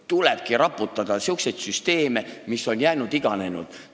Tulebki raputada sihukesi süsteeme, mis on iganenud.